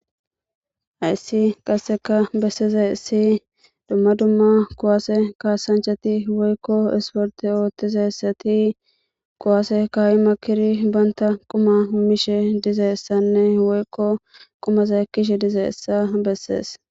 Hayissi qasika besidayisi duma duma kuwase kasanchati woyiko isporte otizayiti kuwase ka,I makidi bantha quma mishe dizayisanne woyiko qumaza ekishe dizayisa beses